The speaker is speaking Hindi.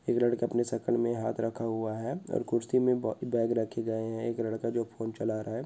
एक लड़का अपने सकल मे हाथ रखा हुआ है। और कुर्सी ब-बेग रखे गये है। एक लड़का जो है फोन चला रहा है।